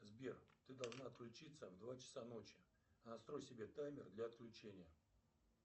сбер ты должна отключиться в два часа ночи настрой себе таймер для отключения